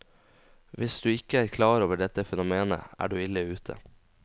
Hvis du ikke er klar over dette fenomenet, er du ille ute.